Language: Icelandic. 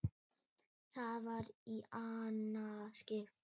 Það var í annað skipti.